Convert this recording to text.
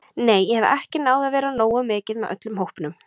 Nei, ég hef ekki náð að vera nógu mikið með öllum hópnum.